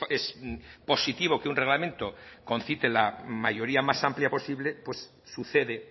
es positivo que un reglamento concite la mayoría más amplia posible pues sucede